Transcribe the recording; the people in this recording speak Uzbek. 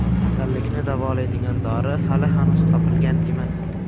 Kasallikni davolaydigan dori hali hanuz topilgan emas.